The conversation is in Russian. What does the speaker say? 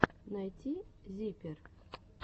найти зиппер